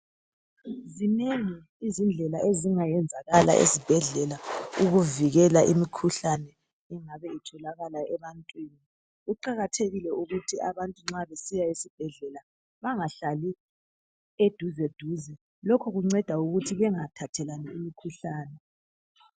Zinengi izindlela ezingayenzakala ezibhedlela ukuvikela imikhuhlane engabe itholakala ebantwini. Kuqakathekile ukuthi abantu nxa besiya esibhedlela , bangahlali eduze duze. Lokhu kunceda ukuthi bengathathelani imikhuhlane.